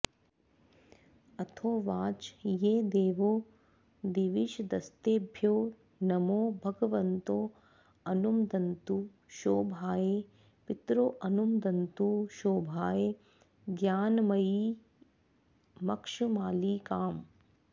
अथोवाच ये देवा दिविषदस्तेभ्यो नमो भगवन्तोऽनुमदन्तु शोभायै पितरोऽनुमदन्तु शोभायै ज्ञानमयीमक्षमालिकाम्